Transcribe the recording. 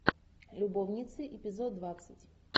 любовницы эпизод двадцать